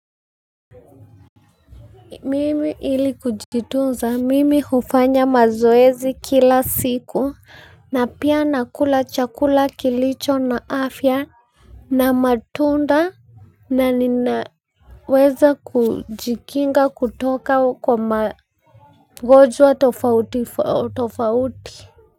Mimi ili kujitunza hufanya mazoezi kila siku, na pia nakula chakula kilicho na afya. Na matunda, na ninaweza kujikinga kutoka kwa magonjwa tofauti tofauti.